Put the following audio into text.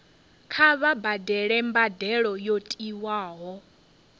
kha vha badele mbadelo yo tiwaho